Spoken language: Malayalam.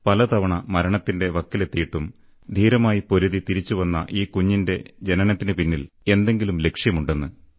പല തവണ മരണത്തിന്റെ വക്കിലെത്തിയിട്ടും ധീരമായി പൊരുതി തിരിച്ചുവന്ന ഈ കുഞ്ഞിന്റെ ജനനത്തിന്റെ പിന്നിൽ എന്തെങ്കിലും ലക്ഷ്യമുണ്ടെന്ന്